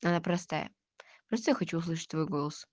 она простая я просто хочу услышать твой голос